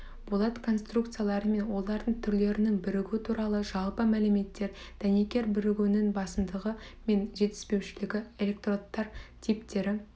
болат конструкциялары мен олардың түрлерінің бірігуі туралы жалпы мәліметтер дәнекер бірігулерінің басымдығы мен жетіспеушілігі электродтар типтері